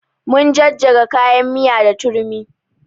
Mun jajjaga kayan miya da turmi